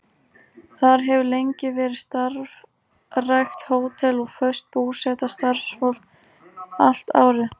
Þar hefur lengi verið starfrækt hótel og föst búseta starfsfólks allt árið.